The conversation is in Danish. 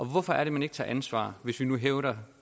hvorfor er det man ikke tager ansvar hvis vi nu hævder